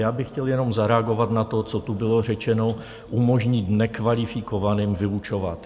Já bych chtěl jenom zareagovat na to, co tu bylo řečeno - umožnit nekvalifikovaným vyučovat.